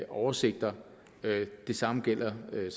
oversigter det samme gælder når det